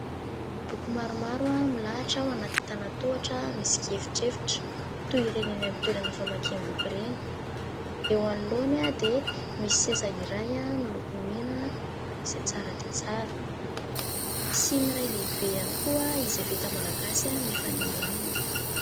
Boky maromaro milahatra ao anaty antanatohatra misy kiefitrefitra toy ireny amin'ny toerana famakim-boky ireny. Eo anoloany dia misy seza iray miloko mena izay tsara dia tsara. Misy siny iray lehibe ihany koa izay vita malagasy mifanila aminy.